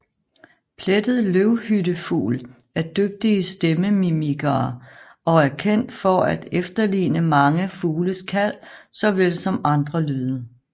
Plettet løvhyttefugl er dygtige stemmemimikere og er kendt for at efterligne mange fugles kald såvel som andre lyde